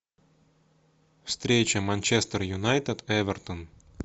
встреча манчестер юнайтед эвертон